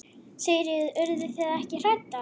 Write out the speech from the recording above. Sigríður: Urðu þið ekki hræddar?